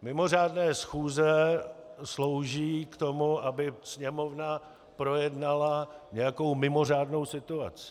Mimořádné schůze slouží k tomu, aby Sněmovna projednala nějakou mimořádnou situaci.